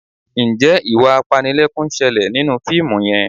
Ǹjẹ́ ìwà apanilẹ́kún ń ṣẹlẹ̀ nínú fíìmù yẹn?